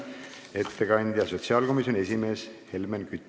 Ettekandja on sotsiaalkomisjoni esimees Helmen Kütt.